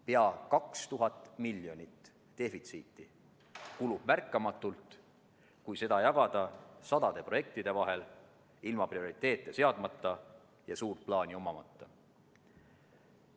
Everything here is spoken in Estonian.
Peaaegu 2000 miljonit defitsiiti kulub märkamatult, kui seda jagada sadade projektide vahel ilma prioriteete seadmata ja suurt plaani omamata.